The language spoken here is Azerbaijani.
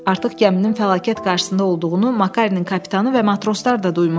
Artıq gəminin fəlakət qarşısında olduğunu Makarenin kapitanı və matroslar da duymuşdu.